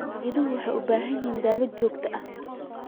Idaha waxay u baahan yihiin daaweyn joogto ah.